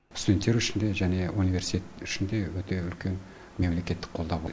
студенттер үшін де және университет үшін де өте үлкен мемлекеттік қолдау бұл